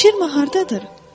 Şirma hardadır?